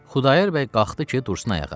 Xudayar bəy qalxdı ki, dursun ayağa.